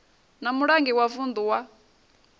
na mulangi wa vuṋdu wa